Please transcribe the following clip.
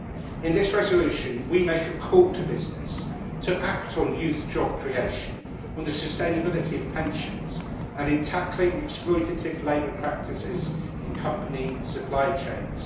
In this resolution we make a call to business to act on youth job creation, on the sustainability of pensions and in tackling exploitative labour practices in company supply chains.